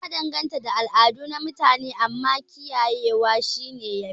Ya danganta da al'adu na mutune, amma kiyaye wa shi yafi